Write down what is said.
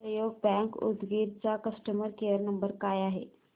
सहयोग बँक उदगीर चा customer care क्रमांक काय आहे